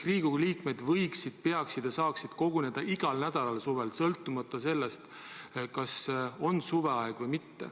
Riigikogu liikmed saaksid koguneda ja peaksid vajadusel kogunema igal nädalal ka suvel.